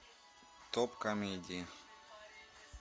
топ комедии